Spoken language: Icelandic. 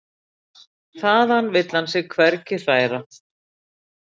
Þaðan vill hann sig hvergi hræra.